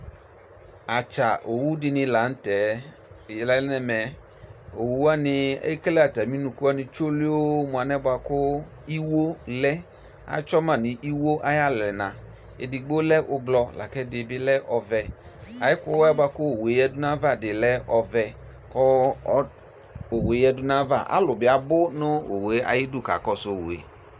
Atsa owʋ dini lanʋtɛ lɛ nʋ ɛmɛ owʋ wani ekele atami ʋnʋkʋ wani tsolio mʋ anɛ bʋa kʋ iwo lɛ atsɔma nʋ iwo ayʋ alɛna edigbo lɛ ʋblɔ lakʋ ɛdibi lɛ ɔvɛ ɛkʋwa bʋakʋ owʋe yadʋ nʋ ayava bilɛ ɔvɛ kʋ owʋe yadʋ nʋ ayʋ ava alʋwa bi abʋ nʋ owʋe idʋ kakɔsʋ owue